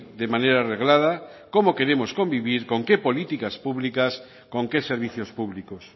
de manera reglada cómo queremos convivir con qué políticas públicas con qué servicios públicos